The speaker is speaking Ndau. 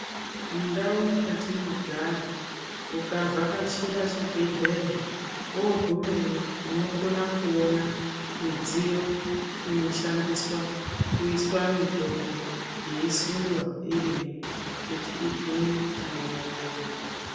Mundau mwatinogara ukavhakachira chibhedhleya wogumeyo unoona midziyo inoshandiswa kuiswa mitombo yeisundwa irimwo kuti igume pane vatenda.